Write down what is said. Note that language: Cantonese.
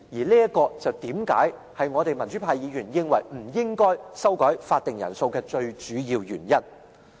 這就是為何民主派議員認為不應修改法定人數的最主要原因。